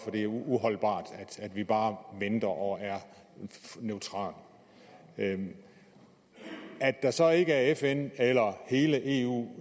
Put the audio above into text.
det er uholdbart at vi bare venter og er neutrale det er så ikke fn eller hele eu